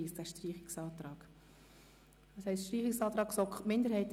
Dieser gilt für den ganzen Artikel 31b (neu).